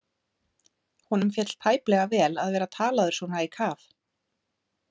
Honum féll tæplega vel að vera talaður svona í kaf.